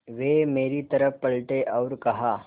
वे मेरी तरफ़ पलटे और कहा